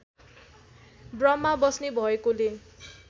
ब्रम्हा बस्ने भएकोले